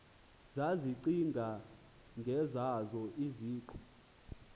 zazicinga ngezazo iziqu